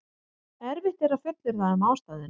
erfitt er að fullyrða um ástæðuna